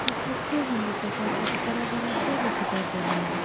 इस तस्वीर में मुझे बहोत सारा बड़ा बड़ा पेड़ लोग दिखाई दे रहे हैं।